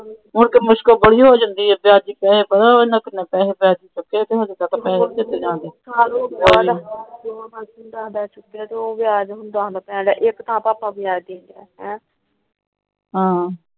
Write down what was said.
ਹੋਰ ਮੁਸ਼ਕਿਲ ਬੜੀ ਹੋ ਜਾਂਦੀ ਏ। ਵਿਆਜੂ ਪੈਸੇ